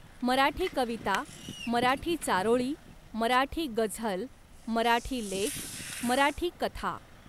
मराठी कविता, मराठी चारोळी, मराठी गझल, मराठी लेख, मराठी कथा